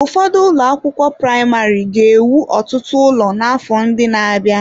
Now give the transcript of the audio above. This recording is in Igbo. Ụfọdụ ụlọ akwụkwọ praịmarị ga-ewu ọtụtụ ụlọ n'afọ ndị na-abịa.